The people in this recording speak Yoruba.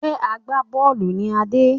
Ṣé agbá-bọ́ọ́lù ni Adé?